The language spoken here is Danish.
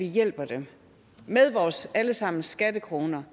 hjælper dem med vores alle sammens skattekroner